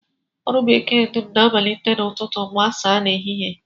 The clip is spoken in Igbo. Ọrụ bekee dum na-amalite n'ụtụtụ gbasaa n'ehihie